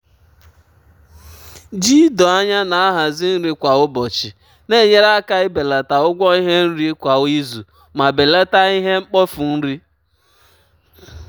ji ido anya na-ahazi nri kwa ụbọchị um na-enyere aka ibelata ụgwọ ihe nri um kwa um izu ma belata ihe mkpofu nri.